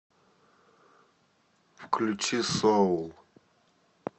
включи соул